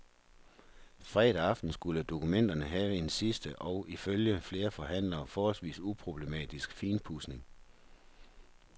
Fredag aften skulle dokumenterne have en sidste og, ifølge flere forhandlere, forholdsvis uproblematisk finpudsning.